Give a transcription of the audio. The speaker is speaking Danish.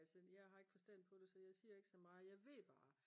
altså jeg har ikke forstånd på det så jeg siger ikke så meget jeg ved bare